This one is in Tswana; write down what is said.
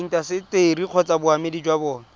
intaseteri kgotsa boemedi jwa bona